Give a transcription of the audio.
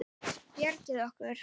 Bjargið okkur!